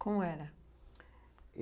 Como era?